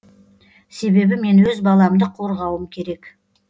себебі мен өз баламды қорғауым керек